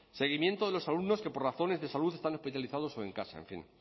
seguimiento de los alumnos que por razones de salud están hospitalizados o en casa en fin